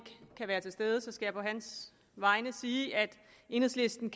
kan være til stede skal jeg på hans vegne sige at enhedslisten